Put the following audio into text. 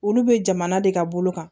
Olu be jamana de ka bolo kan